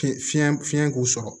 Fiɲɛ fiɲɛ fiɲɛ k'u sɔrɔ